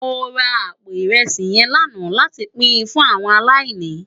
Mó rá àpó irèsí yèn làná làtí pin fún áwòn àláìní